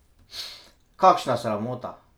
Kakšna sramota!